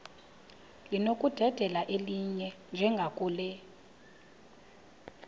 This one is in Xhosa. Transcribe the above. linokudedela elinye njengakule